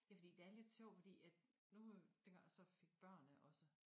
Det fordi det er lidt sjovt fordi at nu øh dengang jeg så fik børn ikke også